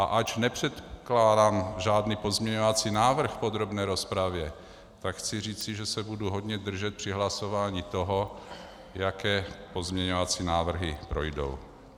A ač nepředkládám žádný pozměňovací návrh v podrobné rozpravě, tak chci říci, že se budu hodně držet při hlasování toho, jaké pozměňovací návrhy projdou.